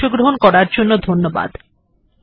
এতে অংশগ্রহন করার জন্য ধন্যবাদ